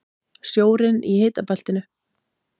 Sjórinn í hitabeltinu